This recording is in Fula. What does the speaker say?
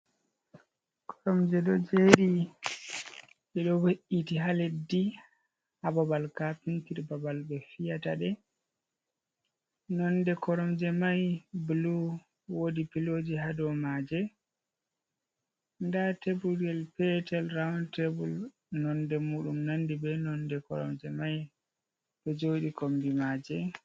Korom je ɗo jeri je ɗo be’iti ha leddi ha babal kapetir babal ɓe fiyataɗe nonde koromje mai blu wodi piloji ha do maje nda tebulel petel rawun tebul nonde muɗum nandi be nonde koromje mai ɗo jodi kombi maje.